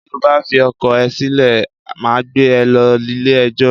Tí o bá fi ọkọ ẹ sílè, màá gbé e lọ ilẹ̀ ẹjọ́